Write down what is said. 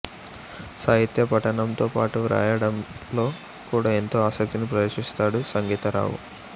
సాహిత్య పఠనంతో పాటు వ్రాయడంలో కూడా ఎంతో ఆసక్తిని ప్రదర్శిస్తాడు సంగీతరావు